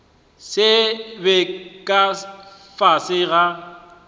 se be ka fase ga